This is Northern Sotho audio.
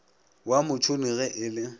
wa motšhoni ge e le